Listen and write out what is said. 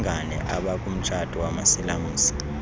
abalngane abakumtshato wamasilamsi